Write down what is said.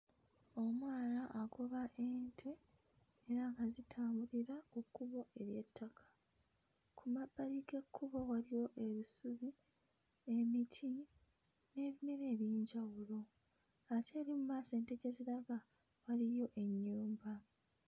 Omwana agoba ente era nga zitambulira ku kkubo ery'ettaka. Ku mabbali g'ekkubo waliwo ebisubi, emiti n'ebirime eby'enjawulo ate eri mu maaso ente gye ziraga waliyo ennyumba.